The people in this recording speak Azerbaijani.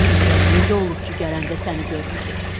Bilmürəm necə olub ki, gələndə səni görməyib.